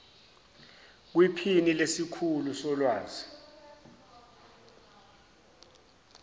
kwiphini lesikhulu solwazi